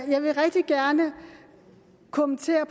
jeg vil rigtig gerne kommentere